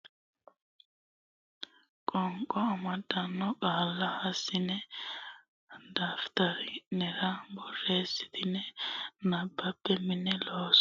Mini Looso Qolleete godo le yaanno uminni shiqqino niwaawe giddonni tonne duu rantino qoonqo amaddino qaalla hassine daftari nera borreessitine abbe Mini Looso.